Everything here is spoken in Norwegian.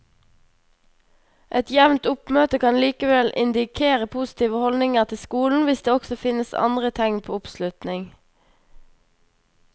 Et jevnt oppmøte kan likevel indikere positive holdninger til skolen hvis det også finnes andre tegn på oppslutning.